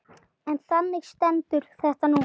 En þannig stendur þetta núna.